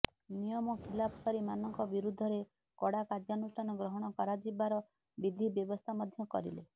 ନିୟମ ଖିଲାପକାରୀ ମାନଙ୍କ ବିରୁଦ୍ଧରେ କଡା କାର୍ଯ୍ୟାନୁଷ୍ଠାନ ଗ୍ରହଣ କରାଯିବାର ବିଧି ବ୍ୟବସ୍ଥା ମଧ୍ୟ କରିଲେ